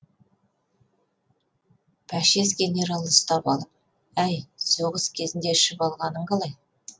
пәшес генералы ұстап алып әй соғыс кезінде ішіп алғаның қалай